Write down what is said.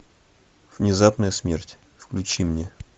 внезапная смерть включи мне